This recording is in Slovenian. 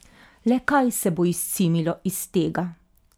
Le kaj se bo izcimilo iz tega?